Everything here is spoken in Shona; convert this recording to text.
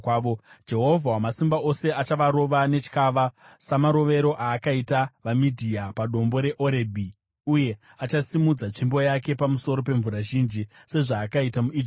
Jehovha Wamasimba Ose achavarova netyava, samarovero aakaita vaMidhia padombo reOrebhi, uye achasimudza tsvimbo yake pamusoro pemvura zhinji, sezvaakaita muIjipiti.